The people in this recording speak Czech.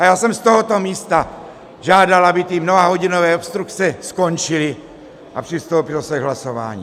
A já jsem z tohoto místa žádal, aby ty mnohahodinové obstrukce skončily a přistoupilo se k hlasování.